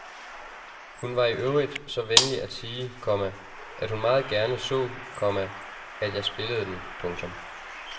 Hun var i øvrigt så venlig at sige, komma at hun meget gerne så, komma at jeg spillede den. punktum